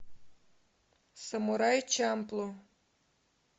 самурай чамплу